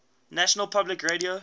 national public radio